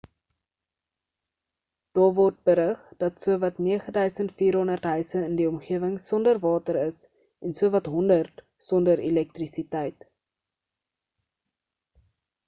daar word berig dat sowat 9400 huise in die omgewing sonder water is en sowat 100 sonder elektrisiteit